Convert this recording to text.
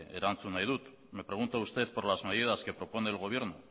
erantzun nahi dut me pregunta usted por las medidas que propone el gobierno